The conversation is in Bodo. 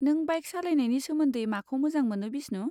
नों बाइक सालायनायनि सोमोन्दै माखौ मोजां मोनो बिस्नु?